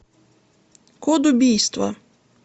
код убийства